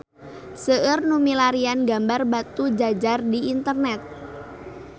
Seueur nu milarian gambar Batujajar di internet